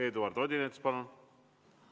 Eduard Odinets, palun!